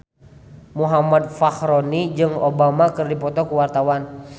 Muhammad Fachroni jeung Obama keur dipoto ku wartawan